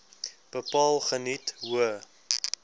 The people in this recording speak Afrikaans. bepaal geniet hoë